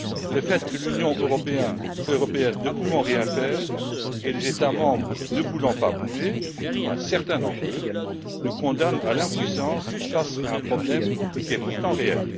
Le fait que l'Union européenne ne peut rien faire et que les États membres ne veulent pas bouger du moins certains d'entre eux nous condamne à l'impuissance face à un problème qui est pourtant réel.